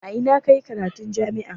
A ina ka yi karatun jami'a?